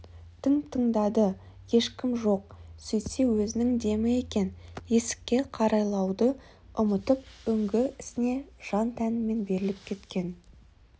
тың тыңдады ешкім жоқ сөйтсе өзінің демі екен есікке қарайлауды ұмытып үңгі ісіне жан-тәнімен беріліп кеткен